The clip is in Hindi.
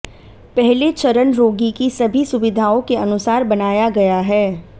पहले चरण रोगी की सभी सुविधाओं के अनुसार बनाया गया है